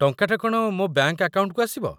ଟଙ୍କାଟା କ'ଣ ମୋ ବ୍ୟାଙ୍କ୍‌ ଆକାଉଣ୍ଟକୁ ଆସିବ?